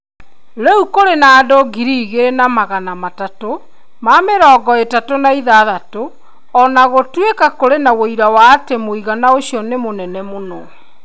Rĩu kũrĩ na andũ ngiri igĩrĩ na magana matatũ na mĩrongo ĩtatũ na ĩthathatũ, o na gũtuĩka kũrĩ na ũira wa atĩ mũigana ũcio nĩ mũnene mũno.